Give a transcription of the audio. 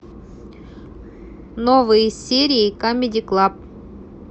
новые серии камеди клаб